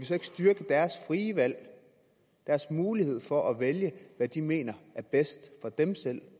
så ikke styrke deres frie valg deres mulighed for at vælge hvad de mener er bedst for dem selv